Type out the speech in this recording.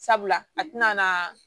Sabula a tɛna na